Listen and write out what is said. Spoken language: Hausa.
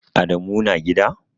Adamu na gida?